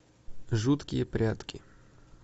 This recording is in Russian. жуткие прятки